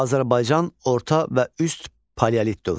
Azərbaycan orta və üst paleolit dövründə.